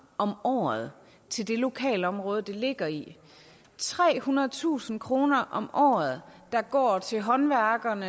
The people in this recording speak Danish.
om året til det lokale område det ligger i trehundredetusind kroner om året der går til håndværkerne